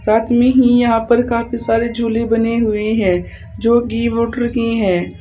साथ में ही यहां पर काफी सारे झूले बने हुए हैं जो की मोटर की हैं।